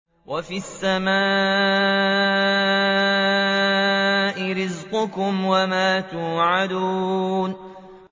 وَفِي السَّمَاءِ رِزْقُكُمْ وَمَا تُوعَدُونَ